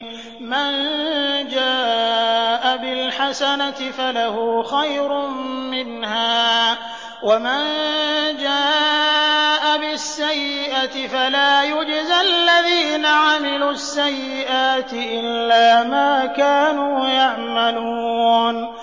مَن جَاءَ بِالْحَسَنَةِ فَلَهُ خَيْرٌ مِّنْهَا ۖ وَمَن جَاءَ بِالسَّيِّئَةِ فَلَا يُجْزَى الَّذِينَ عَمِلُوا السَّيِّئَاتِ إِلَّا مَا كَانُوا يَعْمَلُونَ